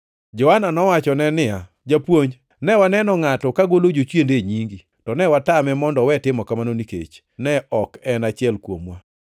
Johana nowachone niya, “Japuonj, ne waneno ngʼato ka golo jochiende e nyingi, to ne watame mondo owe timo kamano nikech ne ok en achiel kuomwa.”